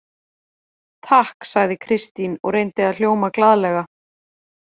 Takk, sagði Kristín og reyndi að hljóma glaðlega.